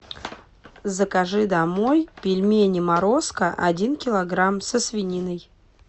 закажи домой пельмени морозко один килограмм со свининой